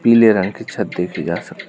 पीले रंग के छत देखे जा सक --